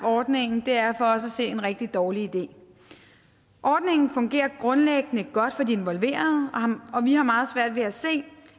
ordningen er for os at se en rigtig dårlig idé ordningen fungerer grundlæggende godt for de involverede og vi har meget svært ved at se